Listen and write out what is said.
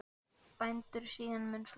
Bændur eru síðan mun fleiri.